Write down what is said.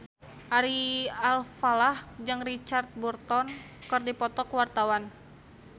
Ari Alfalah jeung Richard Burton keur dipoto ku wartawan